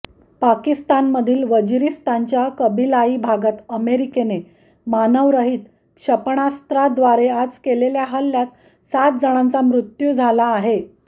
पाकिस्तानमधील वजिरीस्तानच्या कबिलाई भागात अमेरीकेने मानवरहीत क्षेपणास्त्रद्वारे आज केलेल्या हल्ल्यात सात जणांचा मृत्यू झाला आहे